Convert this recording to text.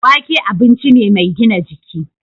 Wake abinci ne mai gina jiki.